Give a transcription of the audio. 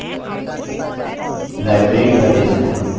library database में